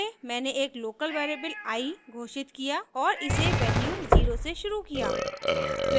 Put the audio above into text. पहले मैंने एक लोकल वेरिएबल i घोषित किया और इसे वैल्यू 0 से शुरू किया